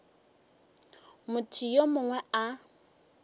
motho yo mongwe yo a